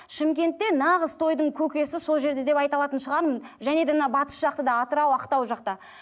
шымкентте нағыз тойдың көкесі сол жерде деп айта алатын шығармын және де мынау батыс жақта да атырау ақтау жақта